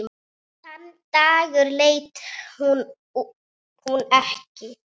Þann dag leit hún ekki.